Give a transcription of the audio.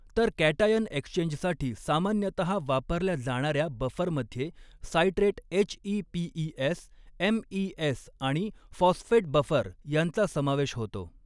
तर कॅटायन एक्सचेंजसाठी सामान्यतः वापरल्या जाणार् या बफरमध्ये सायट्रेट एचइपीइएस एमइएस आणि फॉस्फेट बफर यांचा समावेश होतो.